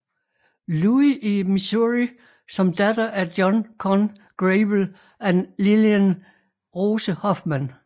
Louis i Missouri som datter af John Conn Grable og Lillian Rose Hofmann